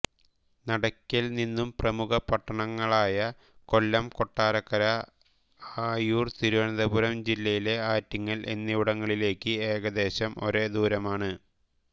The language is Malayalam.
നടയ്ക്കൽ നിന്നും പ്രമുഖ പട്ടണങ്ങളായ കൊല്ലം കൊട്ടാരക്കര ആയൂർ തിരുവനന്തപുരം ജില്ലയിലെ ആറ്റിങ്ങൽ എന്നിവിടങ്ങളിലേക്ക് ഏകദേശം ഒരേ ദൂരമാണ്